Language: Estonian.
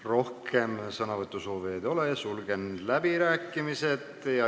Rohkem sõnasoovijaid ei ole, sulgen läbirääkimised.